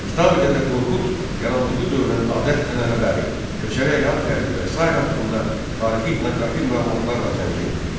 Kitabi Dədə Qorqud yarandığı dövrün adət-ənənələri, köçərək həyat tərzi və sair haqqında tarixi-etnoqrafik məlumatlarla zəngindir.